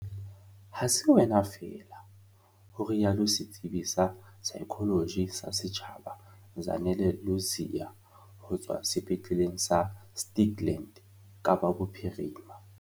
"Ha se wena feela," ho rialo setsebi sa saekholoji sa setjhaba Zanele Ludziya ho tswa Sepetleleng sa Stikland, Kapa Bophirima.